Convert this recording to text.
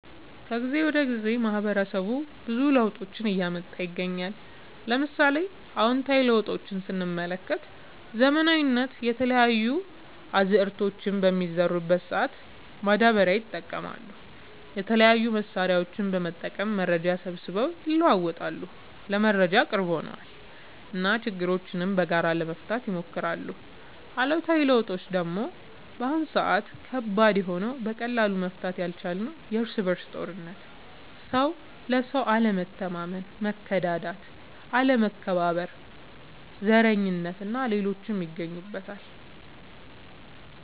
ከጊዜ ወደ ጊዜ ማህበረሰቡ ብዙ ለውጦችን እያመጣ ይገኛል። ለምሳሌ፦ አዎንታዊ ለውጦች ስንመለከት ዘመናዊነት፣ የተለያዩ አዝዕርቶችን በሚዘሩ ሰአት ማዳበሪያ ይጠቀማሉ፣ የተለያዩ መሳሪያዎችን በመጠቀም መረጃ ሰብስበው ይለዋወጣሉ (ለመረጃ ቅርብ ሆነዋል ) እና ችግሮችን በጋራ ለመፍታት ይሞክራሉ። አሉታዊ ለውጦች ደግሞ በአሁን ሰአት ከባድ የሆነው በቀላሉ መፈታት ያልቻለው የርስ በርስ ጦርነት፣ ሰው ለሰው አለመተማመን፣ መከዳዳት፣ አለመከባበር፣ ዘረኝነት እና ሌሎችም ይገኙበታል።